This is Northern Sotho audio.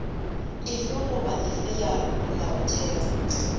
efe goba efe ya molaotheo